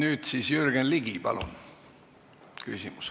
Nüüd siis Jürgen Ligi küsimus.